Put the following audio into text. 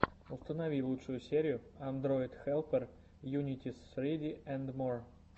установи лучшую серию андройдхэлпер юнитиссриди энд мор